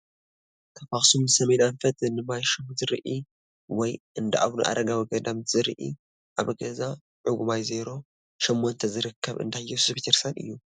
ካብ አክሱም ንሰሜን ኣንፈት ንማይ ሹም ዝርኢ ወይ እንዳአቡነ ኣረጋዊ ገዳም ዝርኢ ኣብ ገዛ ዕጉማይ ዜሮ ሸሞንተ ዝርከብ እንዳየሱስ ቤተክርስትያን እዩ፡፡